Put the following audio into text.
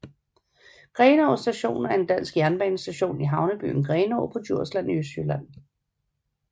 Grenaa Station er en dansk jernbanestation i havnebyen Grenaa på Djursland i Østjylland